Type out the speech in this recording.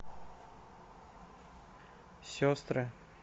сестры